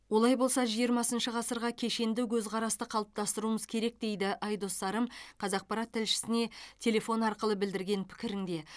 олай болса жиырмасыншы ғасырға кешенді көзқарасты қалыптастыруымыз керек дейді айдос сарым қазақпарат тілшісіне телефон арқылы білдірген пікірінде